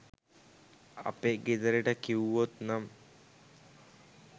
අපේ ගෙදරට කිව්වොත් නම්